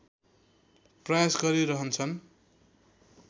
प्रयास गरिरहन्छन्